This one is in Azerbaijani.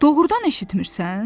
Doğrudan eşitmirsən?